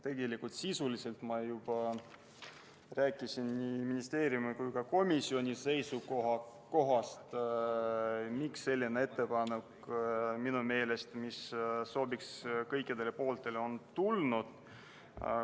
Tegelikult ma sisuliselt juba rääkisin nii ministeeriumi kui ka komisjoni seisukohast, miks selline ettepanek, mis minu meelest sobis kõikidele pooltele, on tulnud.